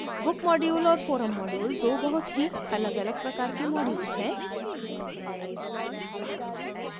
book module और forum module दो बहुत ही अलग अलग प्रकार के modules हैं